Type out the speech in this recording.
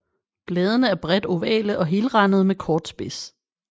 Bladene er bredt ovale og helrandede med kort spids